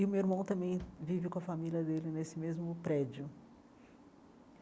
E o meu irmão também vive com a família dele nesse mesmo prédio.